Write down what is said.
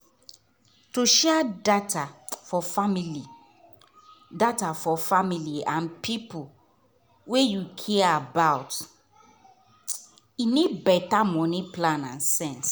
to share data for family data for family and people wey you care about need better money plan and sense.